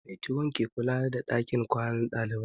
Matron ke kula da ɗakin kwanan ɗalibai